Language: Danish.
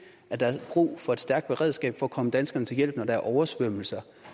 at der er brug for et stærkt beredskab at komme danskerne til hjælp når der er oversvømmelser